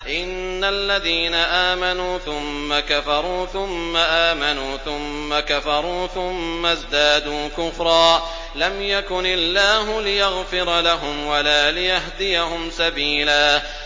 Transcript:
إِنَّ الَّذِينَ آمَنُوا ثُمَّ كَفَرُوا ثُمَّ آمَنُوا ثُمَّ كَفَرُوا ثُمَّ ازْدَادُوا كُفْرًا لَّمْ يَكُنِ اللَّهُ لِيَغْفِرَ لَهُمْ وَلَا لِيَهْدِيَهُمْ سَبِيلًا